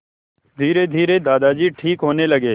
धीरेधीरे दादाजी ठीक होने लगे